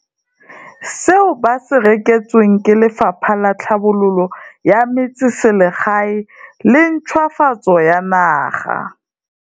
Seo ba se reketsweng ke Lefapha la Tlhabololo ya Metseselegae le Ntšhwafatso ya Naga.